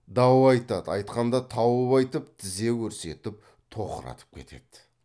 дау айтады айтқанда тауып айтып тізе көрсетіп тоқыратып кетеді